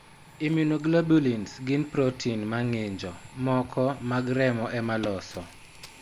Immunoglobulins gin protein ma ng'injo moko mag remo ema loso.